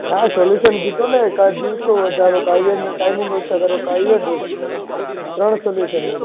ના solution દિધુ ને કા event ના દિવસો વધારો કાં timing ઓછી કરો ત્રણ solution આપ્યા